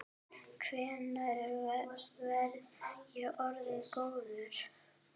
Hvenær verð ég orðinn góður?